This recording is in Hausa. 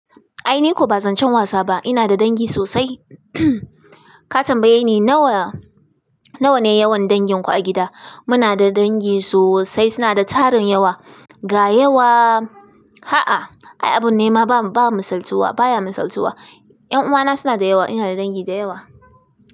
Ai ni ko ba zan can wasa ba. Ina da dangi sosai. Ka tambaye ni nawa, nawa ne yawan danginku a gida. Muna da dangi sosai, suna da tarin yawa. Ga yawa, ha a, ai abun nema ba, ba masaltuwa, baya masaltuwa. Yan uwana suna da yawa, ina da dangi da yawa.